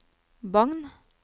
Bagn